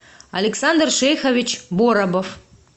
александр шейхович боробов